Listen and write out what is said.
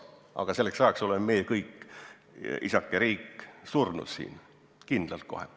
Aga selleks ajaks oleme meie kõik, isake riik, surnud – kindlalt kohe.